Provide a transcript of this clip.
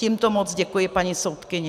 Tímto moc děkuji paní soudkyni.